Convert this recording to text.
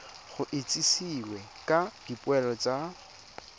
go itsisiwe ka dipoelo tsa